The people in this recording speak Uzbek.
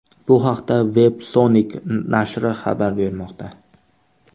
Bu haqda Websonic nashri xabar bermoqda .